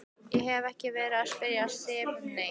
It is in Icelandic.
Ég hef ekki verið að spyrja Sif neitt.